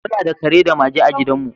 Muna da kare da mage a gidanmu.